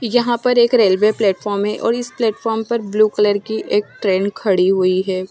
यहाँ पर एक रेलवे प्लॅटफॉम हैं और इस प्लॅटफॉम पर ब्लू कलर की एक ट्रेन खड़ी हुई है।